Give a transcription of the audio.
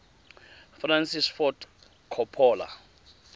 francis ford coppola